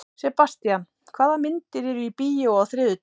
Sebastian, hvaða myndir eru í bíó á þriðjudaginn?